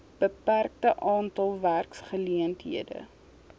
beperkte aantal werkgeleenthede